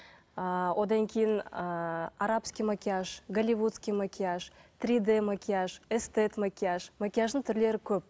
ыыы одан кейін ыыы арабский макияж голливудский макияж три д макияж эстет макияж макияждың түрлері көп